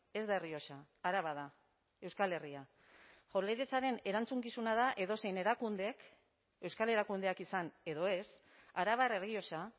ez da errioxa araba da euskal herria jaurlaritzaren erantzukizuna da edozein erakundek euskal erakundeak izan edo ez arabar errioxa